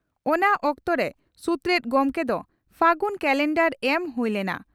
ᱚᱱᱟ ᱚᱠᱛᱚᱨᱮ ᱥᱩᱛᱨᱮᱛ ᱜᱚᱢᱠᱮ ᱫᱚ ᱯᱷᱟᱹᱜᱩ ᱠᱟᱞᱮᱱᱫᱟᱨ ᱮᱢ ᱦᱩᱭ ᱞᱮᱱᱟ ᱾